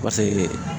Paseke